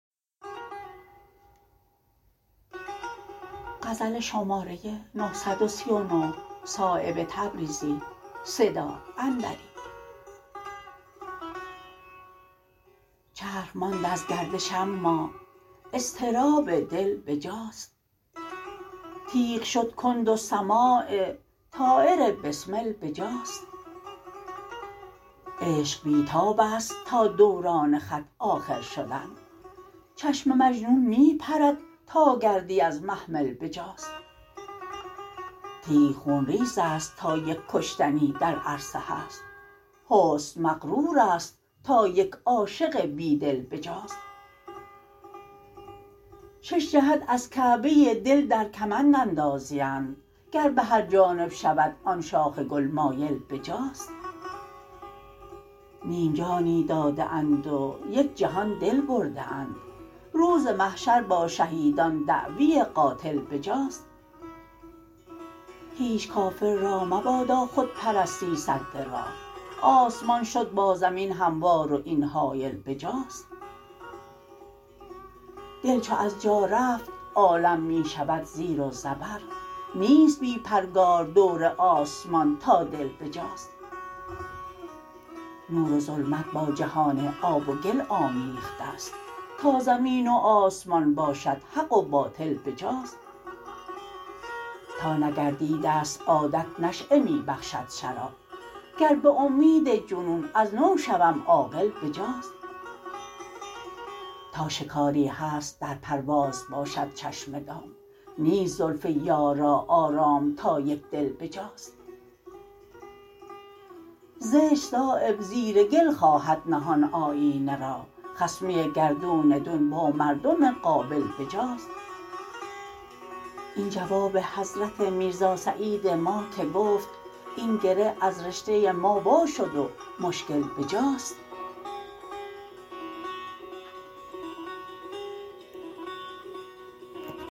چرخ ماند از گردش اما اضطراب دل بجاست تیغ شد کند و سماع طایر بسمل بجاست عشق بی تاب است تا دوران خط آخر شدن چشم مجنون می پرد تا گردی از محمل بجاست تیغ خونریزست تا یک کشتنی در عرصه هست حسن مغرورست تا یک عاشق بیدل بجاست شش جهت از کعبه دل در کمند اندازیند گر به هر جانب شود آن شاخ گل مایل بجاست نیم جانی داده اند و یک جهان دل برده اند روز محشر با شهیدان دعوی قاتل بجاست هیچ کافر را مبادا خودپرستی سد راه آسمان شد با زمین هموار و این حایل بجاست دل چو از جا رفت عالم می شود زیر و زبر نیست بی پرگار دور آسمان تا دل بجاست نور و ظلمت با جهان آب و گل آمیخته است تا زمین و آسمان باشد حق و باطل بجاست تا نگردیده است عادت نشأه می بخشد شراب گر به امید جنون از نو شوم عاقل بجاست تا شکاری هست در پرواز باشد چشم دام نیست زلف یار را آرام تا یک دل بجاست زشت صایب زیر گل خواهد نهان آیینه را خصمی گردون دون با مردم قابل بجاست این جواب حضرت میرزا سعید ما که گفت این گره از رشته ما وا شد و مشکل بجاست